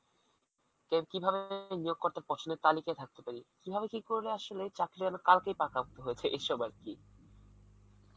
এর কিভাবে নিয়ব করতে প্রশ্নের তালিকায় থাকতে পারি, কিভাবে কি করলে চাকরি যেন কালকেই পাকা হয়ে যায় এইসব আর কি